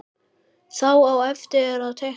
Þá á eftir að teikna.